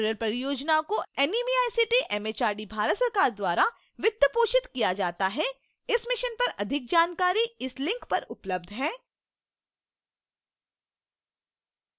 spoken tutorial परियोजना को NMEICT MHRD Bharat सरकार द्वारा वित्त पोषित किया जाता है इस mission पर अधिक जानकारी इस link पर उपलब्ध है